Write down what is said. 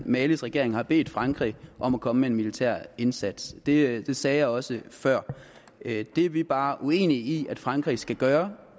malis regering har bedt frankrig om at komme med en militær indsats det sagde jeg også før det er vi bare uenige i at frankrig skal gøre